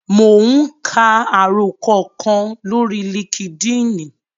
Mò ún ka àròkọ kan lórí líkídíìnì